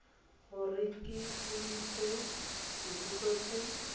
gore ke boditswe dipotso tse